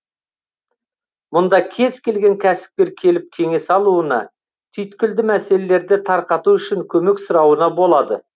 мұнда кез келген кәсіпкер келіп кеңес алуына түйткілді мәселелерді тарқату үшін көмек сұрауына болады